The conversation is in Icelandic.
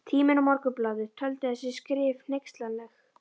Tíminn og Morgunblaðið töldu þessi skrif hneykslanleg.